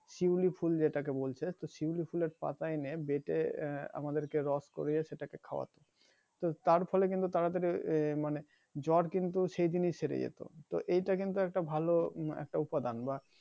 শিউলি ফুল যেটাকে বলছে তো শিউলি ফলের পাতা এনে বেটে আমাদেরকে রস করিয়ে সেটাকে খাওয়াতো তো তার ফলে কিন্তু তাড়াতাড়ি এহ মানি জ্বর কিন্তু সেইদিন ই সেড়ে যেতো তো এইটা কিন্তু একটা ভালো উম একটা উপাদান বা